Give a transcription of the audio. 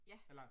Ja